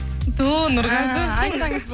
ту нұрғазы